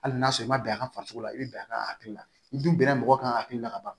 Hali n'a sɔrɔ i ma bɛn a kan farisoko la i bɛ bɛn a ka hakili la i dun bɛnna mɔgɔ kan hakili la ka ban